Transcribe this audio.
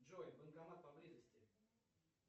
джой банкомат поблизости